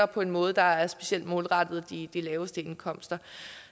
på en måde der er specielt målrettet de laveste indkomster